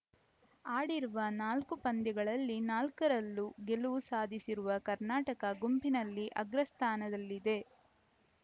ಆಡಿರುವ ನಾಲ್ಕು ಪಂದ್ಯಗಳಲ್ಲಿ ನಾಲ್ಕ ರಲ್ಲೂ ಗೆಲುವು ಸಾಧಿಸಿರುವ ಕರ್ನಾಟಕ ಗುಂಪಿನಲ್ಲಿ ಅಗ್ರಸ್ಥಾನದಲ್ಲಿದೆ